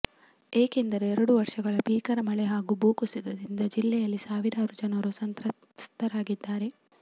ಏಕೆಂದರೆ ಎರಡು ವರ್ಷಗಳ ಭೀಕರ ಮಳೆ ಹಾಗೂ ಭೂ ಕುಸಿತದಿಂದ ಜಿಲ್ಲೆಯಲ್ಲಿ ಸಾವಿರಾರು ಜನರು ಸಂತ್ರಸ್ಥರಾಗಿದ್ದಾರೆ